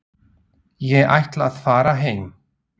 Ég ætla að fara heim.